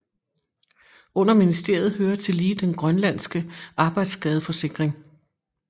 Under ministeriet hører tillige den grønlandske arbejdsskadeforsikring